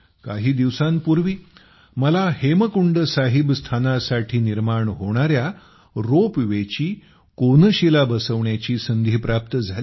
काही दिवसांपूर्वी मला हेमकुंड साहिब स्थानासाठी निर्माण होणाऱ्या रोपवे ची कोनशीला रचण्याची संधी प्राप्त झाली